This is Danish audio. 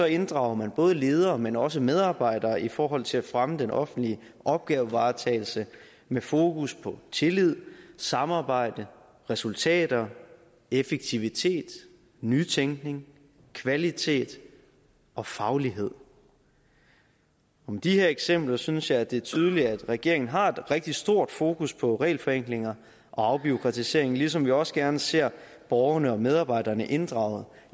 inddrager man både ledere men også medarbejdere i forhold til at fremme den offentlige opgavevaretagelse med fokus på tillid samarbejde resultater effektivitet nytænkning kvalitet og faglighed med de her eksempler synes jeg at det er tydeligt at regeringen har et rigtig stort fokus på regelforenklinger og afbureaukratisering ligesom vi også gerne ser borgerne og medarbejderne inddraget